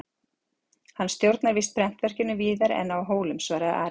Hann stjórnar víst prentverkinu víðar en á Hólum, svaraði Ari.